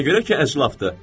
Ona görə ki, əclafdır.